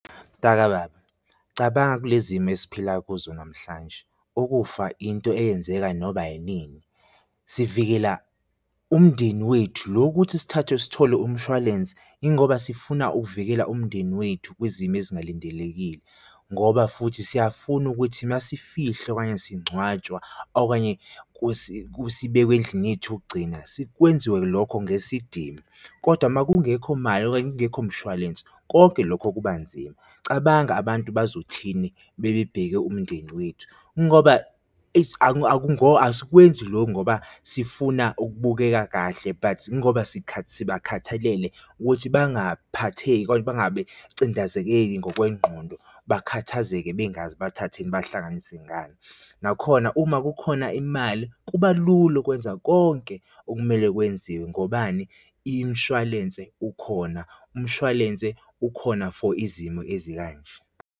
Mntakababa, cabanga kule zimo esiphila kuzo namhlanje ukufa into eyenzeka noba inini, sivikela umndeni wethu lo ukuthi sithathe sithole umshwalense yingoba sifuna ukuvikela umndeni wethu kwizimo ezingalindelekile, ngoba futhi siyafuna ukuthi uma sifihla okanye singcwatshwa okanye sibekwe endlini yethu yokugcina kwenziwe lokho ngesidima, kodwa uma kungekho mali okanye kungekho mshwalense konke lokho kuba nzima. Cabanga abantu bazothini bebebheke umndeni wethu ingoba, asikwenzi lokho ngoba sifuna ukubukeka kahle but ingoba sibakhathalele ukuthi bangaphatheki okanye bangabe cindezekeki ngokwengqondo, bakhathazekile bengazi bathathe ini behlanganise ngani. Nakhona uma kukhona imali kuba lula okwenza konke okumele kwenziwe, ngobani? Imshwalense, ukhona, umshwalense ukhona for izimo ezikanje.